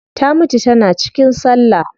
Ta mutu tana cikin sallah